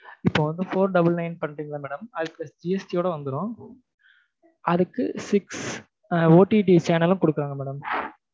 இப்போ வந்து four double nine பண்றீங்களா madam அது GST யோட வந்துரும் அடுத்து six OTT channel ம் குடுக்குறாங்க madam